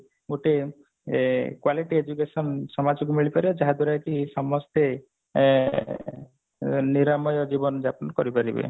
ଗୋଟିଏ ଏ quality education ସମାଜକୁ ମିଳିପାରିବ ଯାହା ଦ୍ଵାରା କି ସମସ୍ତେ ଏ ନିରାମୟ ଜୀବନଯାପନ କରିପାରିବେ